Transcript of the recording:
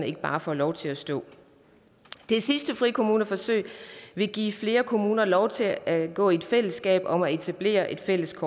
ikke bare får lov til at stå det sidste frikommuneforsøg vil give flere kommuner lov til at gå sammen i fællesskab om at etablere et fælles